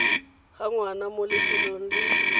ga ngwana mo lefelong le